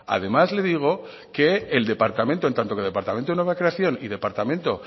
además le digo que el departamento en tanto que el departamento de nueva creación y departamento